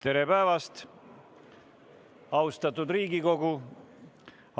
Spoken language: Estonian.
Tere päevast, austatud Riigikogu!